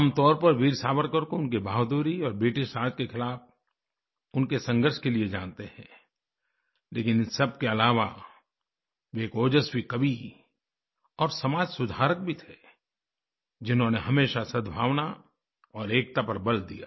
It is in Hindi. आमतौर पर वीर सावरकर को उनकी बहादुरी और ब्रिटिशराज के खिलाफ़ उनके संघर्ष के लिए जानते हैं लेकिन इन सबके अलावा वे एक ओज़स्वी कवि और समाज सुधारक भी थे जिन्होंने हमेशा सद्भावना और एकता पर बल दिया